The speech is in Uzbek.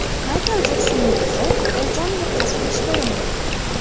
Maykl Jeksonning qizi o‘z joniga qasd qilishga urindi.